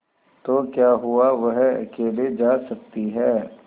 तो क्या हुआवह अकेले जा सकती है